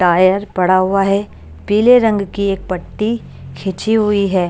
Tyre पड़ा हुआ है पीले रंग की एक पट्टी खींची हुई है।